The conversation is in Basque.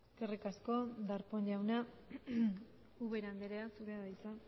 eskerrik asko darpón jauna ubera andrea zurea da hitza